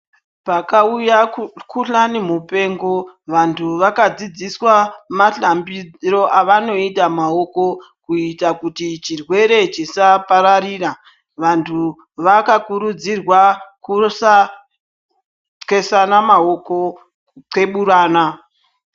Pakauya kukuhlani mupengo vantu wakadzidziswa mahlambiro awanoita maoko kuita kuti chirwere chisapararira. Vantu wakakurudzirwa kusaxesana maoko kuxeburana.